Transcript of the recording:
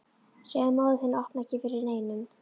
Segðu móður þinni að opna ekki fyrir neinum.